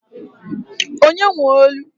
Onye nwe olu?